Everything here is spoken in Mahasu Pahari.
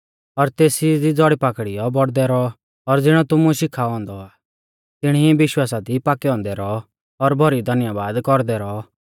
और तेसी दी ज़ौड़ी पाकड़ियौ और बौड़दै रौऔ और ज़िणौ तुमुलै शिखाऔ औन्दौ आ तिणी ई विश्वासा दी पाकै औन्दै रौऔ और भौरी धन्यबाद कौरदै रौऔ